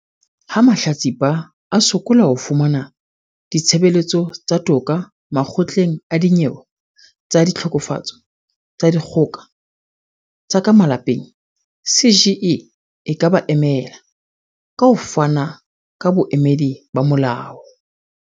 Ha mahlatsipa a sokola ho fumana ditshebeletso tsa toka Makgotleng a Dinyewe tsa Ditlhokofatso tsa Dikgo ka tsa ka Malapeng, CGE e ka ba emela, ka ho fana ka boemedi ba molao.